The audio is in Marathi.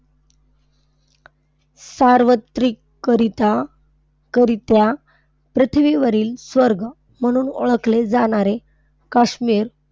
सार्वत्रिकरीत्या करित्या पृथ्वीवरील स्वर्ग म्हणून ओळखले जाणारे काश्मीर,